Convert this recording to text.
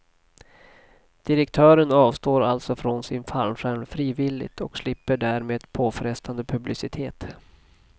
Direktören avstår alltså från sin fallskärm frivilligt och slipper därmed påfrestande publicitet.